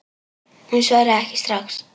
Hún svaraði ekki strax.